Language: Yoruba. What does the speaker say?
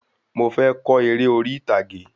Mò fé ko eré orí ìtàgé